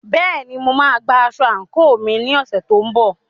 Bẹ́ẹ̀ni, mo máa gba aṣọ àǹkóò mi ní ọ̀sẹ̀ tó ń bọ̀.